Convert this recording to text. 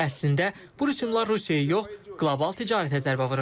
Əslində bu rüsumlar Rusiyaya yox, qlobal ticarətə zərbə vurur.